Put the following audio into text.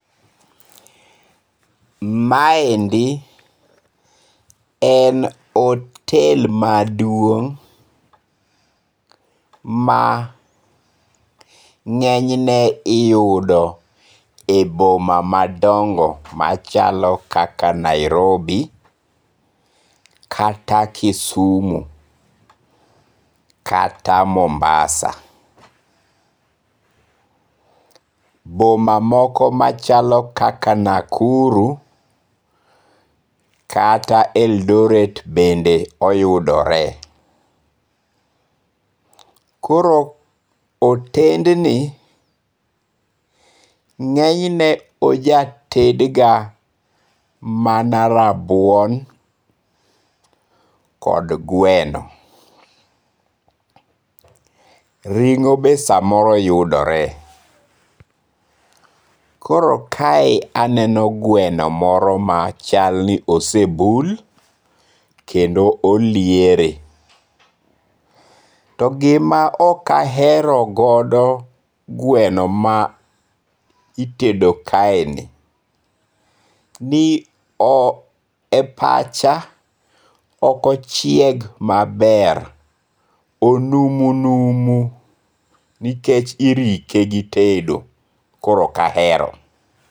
Maendi en otel maduong' ma nge'nyne iyudo e boma madongo' machalo kaka Nairobi, kata Kisumu, kata Mombasa, boma moko machako kaka Nakuru kata Eldoret bende oyudore. Koro otendni ng'enyne ojatedga mana rabuon kod gweno. Ring'o be samoro yudore, koro kae aneno gweno moro ma chalni osebul kendo oliere to gima okahero godo gweno ma itedo kaeni ni e pacha okochieg maber, onumunumu nikech irike gi tedo koro okaero